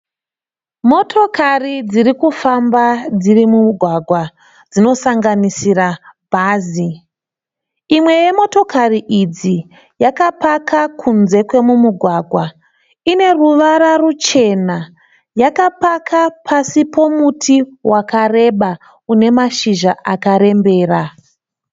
Motokari dzirikufamba dzirimumugwagwa dzosanganisira bhazi, imwe yemotokari idzi yakapaka kunze kwemugwagwa yakapaka pasi pemuti unemashizha akarembera.